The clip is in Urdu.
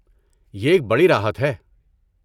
یہ ایک بڑی راحت ہے۔